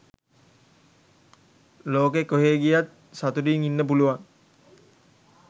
ලොකෙ කොහේ ගියත් සතුටින් ඉන්න පුළුවන්.